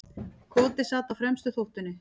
Koti sat á fremstu þóftunni.